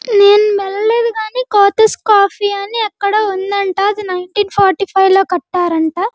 నేను వెళ్ళలేదు కాని కోతిస్ కాఫీ అని అక్కడ ఉందంట అది నైన్టీన్ ఫార్టీ ఫైవ్ లో కట్టారంట.